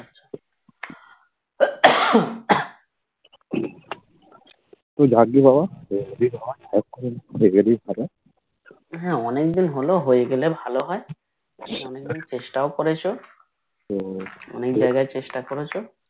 ভাগ্য ভালো